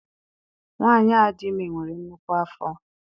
Nwaanyi a dị ime nwere nnukwu afọ.